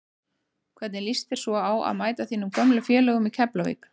Hvernig lýst þér svo á að mæta þínum gömlu félögum í Keflavík?